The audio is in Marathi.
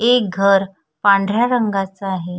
एक घर पांढऱ्या रंगाच आहे.